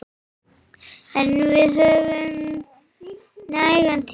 En við höfum nægan tíma.